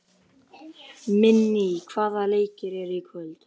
Minný, hvaða leikir eru í kvöld?